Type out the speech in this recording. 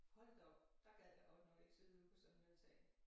Hold da op der gad jeg godt nok ikke sidde ude på sådan en altan